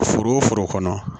Foro foro kɔnɔ